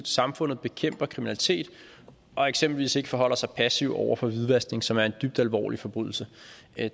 samfundet bekæmper kriminalitet og eksempelvis ikke forholder sig passiv over for hvidvaskning som er en dybt alvorlig forbrydelse